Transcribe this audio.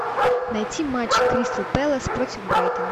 найти матч кристал пэлас против брайтон